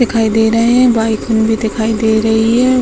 दिखाई दे रहे हैं | बाइक भी दिखाई दे रही हैं |